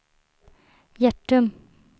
Hjärtum